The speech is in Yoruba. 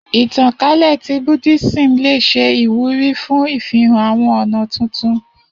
Itankale ti Buddhism le ṣe iwuri fun ifihan awọn ọna tuntun.